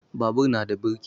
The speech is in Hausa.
Babur na da birki